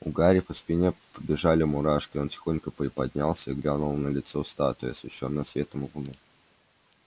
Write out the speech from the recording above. у гарри по спине побежали мурашки он тихонько приподнялся и глянул на лицо статуи освещённое светом луны